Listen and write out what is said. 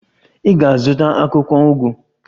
Ị ga-azụta akwụkwọ ugu